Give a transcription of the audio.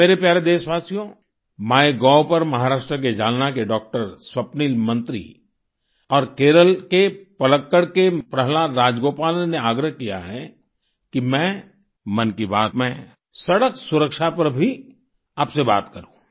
मेरे प्यारे देशवासियो माइगोव पर महाराष्ट्र के जालना के डॉ स्वप्निल मंत्री और केरल के पलक्कड़ के प्रहलाद राजगोपालन ने आग्रह किया है कि मैं मन की बात में सड़क सुरक्षा पर भी आपसे बात करूँ